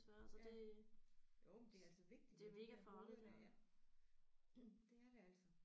Ja jo men det er altså vigtigt med de der hoveder der ja det er det altså